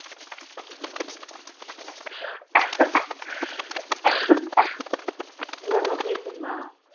இந்தாங்க பேசுங்கம்மா